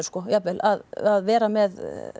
jafnvel að vera með